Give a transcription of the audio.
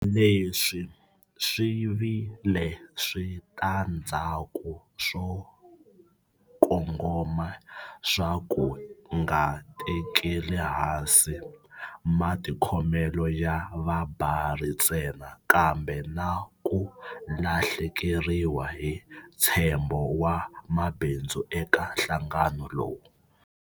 Leswi swi vi le switandzhaku swo kongoma swa ku nga tekeli ehansi matikhomelo ya vabari ntsena, kambe na ku lahlekeriwa hi ntshembo wa mabindzu eka nhlangano lowu.